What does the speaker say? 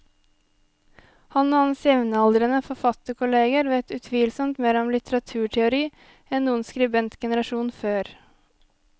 Han og hans jevnaldrende forfatterkolleger vet utvilsomt mer om litteraturteori enn noen skribentgenerasjon før.